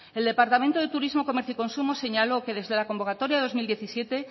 el departamento de turismo comercio y consumo señaló que desde la convocatoria del dos mil diecisiete